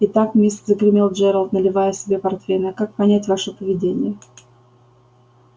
итак мисс загремел джералд наливая себе портвейна как понять ваше поведение